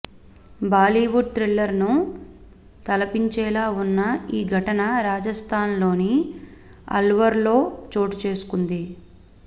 బాలీవుడ్ థ్రిల్లర్ను తలపించేలా ఉన్న ఈ ఘటన రాజస్థాన్లోని అల్వార్లో చోటుచేసుకుంది